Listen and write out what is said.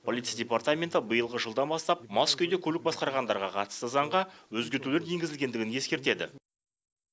полиция департаменті биылғы жылдан бастап мас күйде көлік басқарғандарға қатысты заңға өзгертулер енгізілгендігін ескертеді